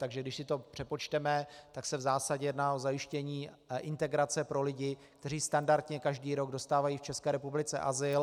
Takže když si to přepočteme, tak se v zásadě jedná o zajištění integrace pro lidi, kteří standardně každý rok dostávají v České republice azyl.